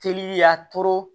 Teli y'a to